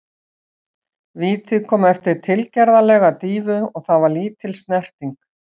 Vítið kom eftir tilgerðarlega dýfu og það var lítil snerting.